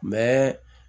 Mɛ